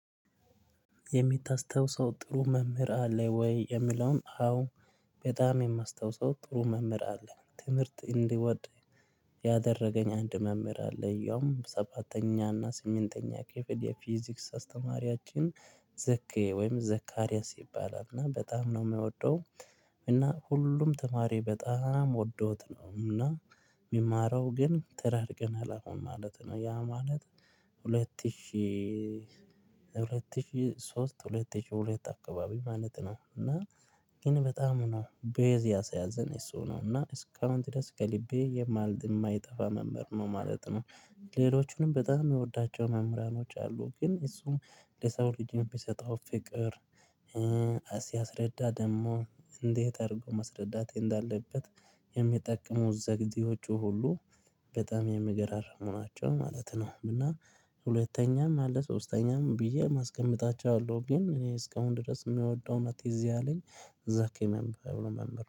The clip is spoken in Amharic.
የምታስታውሰው ጥሩ መምህር አለ ወይ? የሚለውን አዎ በጣም የማስታውሰው ጥሩ መምህር አለ። ትምህርት እንድወድ ያደረገኝ አንድ መምህር አለ። ያም ሰባተኛና ስምንተኛ ክፍል የፊዚክስ አስተማሪያችን ዘኬ ወይም ዘካርያስ ይባላል። እና በጣም ነው የምወደው እና ሁሉም ተማሪ በጣም ወዶት ነው እና የሚማረው ግን ተራርቀናል አሁን ማለት ነው። ያ ማለት ሁለት ሺህ ሺህ ሁለት ሺህ ሶስት ሁለት ሺህ ሁለት አካባቢ ማለት ነው እና ግን በጣም ነው ቤዝ ያሰያዘን እሱ ነው እና እስካሁን ድረስ ከልቤ የማልድ የማይጠፋ መምህር ነው ማለት ነው። ሌሎቹንም በጣም የምወዳቸው መምህራኖች አሉ ግን እሱም ለሰው ልጅ የሚሰጠው ፍቅር ሲያስረዳ ደግሞ እንዴት አድርጎ ማስረዳት እንዳለበት የሚጠቀመው ዘዴዎቹ ሁሉ በጣም የሚገራርሙ ናቸው ማለት ነው። እና ሁለተኛም አለ ሶስተኛም ብዬ የማስቀምጣቸው አሉ። ግን እኔ እስካሁን ድረስ የምወደው እና ትዝ ያለኝ ዚኪ የሚባለው መምህር ነው።